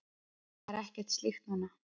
Það er ekkert slíkt núna.